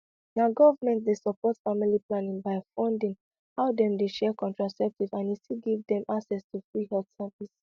na government dey support family planning by funding how dem dey share contraceptive and e still give dem access to free health service